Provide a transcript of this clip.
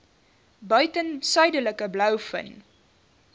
buiten suidelike blouvin